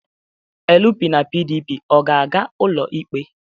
LP na PDP ga-aga ụlọikpe?